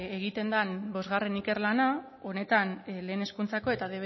egiten den bostgarrena ikerlana honetan lehen hezkuntzako eta